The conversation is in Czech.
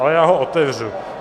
Ale já ho otevřu.